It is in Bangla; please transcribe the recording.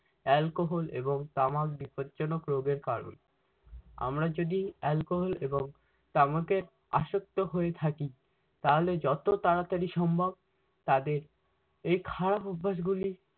alchohol এবং তামাক বিপদজনক রোগের কারণ। আমরা যদি alcohol এবং তামাকের আসক্ত হয়ে থাকি তাহলে যত তাড়াতাড়ি সম্ভব তাদের এ খারাপ অভ্যাসগুলি